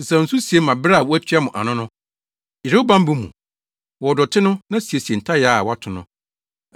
Sesaw nsu sie ma bere a wɔatua mo ano no. Yere wo bammɔ mu! Wɔw dɔte no na siesie ntayaa a wɔato no!